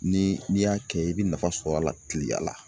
Ni n'i y'a kɛ i bɛ nafa sɔrɔ a la tileya la